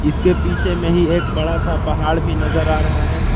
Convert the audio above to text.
जिसके पीछे में ही एक बड़ा सा पहाड़ भी नजर आ रहा है।